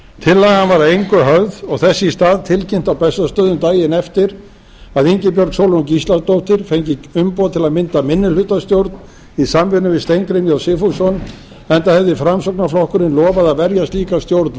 tillagan var að engu höfð og þess í stað tilkynnt á bessastöðum daginn eftir að ingibjörg sólrún gísladóttir fengi umboð til að mynda minnihlutastjórn í samvinnu við steingrím j sigfússon enda hefði framsóknarflokkurinn lofað að verja slíka stjórn